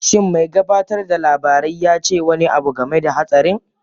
Shin mai gabatar da labarai ya ce wani abu game da hatsarin?